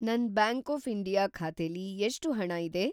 ನನ್‌ bank of India ಖಾತೆಲಿ ಎಷ್ಟು ಹಣ ಇದೆ?